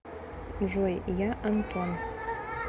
джой я антон